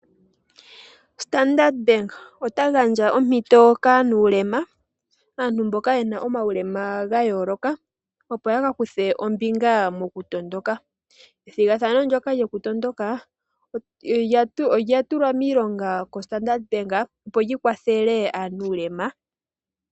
Standard Bank ota gandja ompito kaanuulema, aantu mboka ye na omaulema ga yooloka, opo ya ka kuthe ombinga mokutondoka. Ethigathano ndyoka lyokutondoka olya tulwa miilonga koStandard Bank opo li kwathele aanuulema.